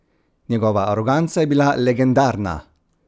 Njegova aroganca je bila legendarna!